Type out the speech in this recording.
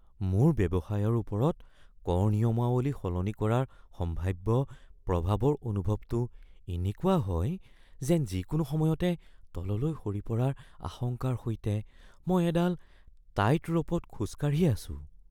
মোৰ ব্যৱসায়ৰ ওপৰত কৰ নিয়মাৱলী সলনি কৰাৰ সম্ভাৱ্য প্ৰভাৱৰ অনুভৱটো এনেকুৱা হয় যেন যিকোনো সময়তে তলতৈ সৰি পৰাৰ আশংকাৰ সৈতে মই এদাল টাইতৰ'পত খোজ কাঢ়ি আছোঁ।